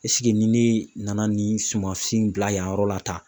ni ne ye nana nin sumansi in bila yan yɔrɔ la tan